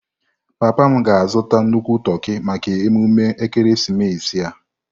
Papa m ga-azụta nnukwu toki maka emume ekeresimesi a.